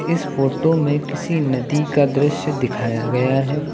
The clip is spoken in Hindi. इस फोटो में किसी नदी का दृश्य दिखाया गया है।